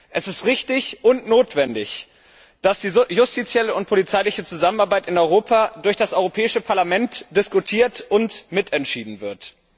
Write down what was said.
Es ist richtig und notwendig, dass die justizielle und polizeiliche Zusammenarbeit in Europa vom Europäischen Parlament diskutiert und mitentschieden wird.